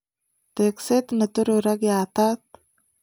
teekseet ne toror ak yaatat